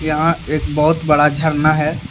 यहां एक बहुत बड़ा झरना है।